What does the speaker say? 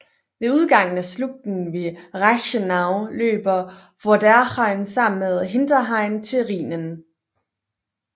Ved udgangen af slugten ved Reichenau løber Vorderrhein sammen med Hinterrhein til Rhinen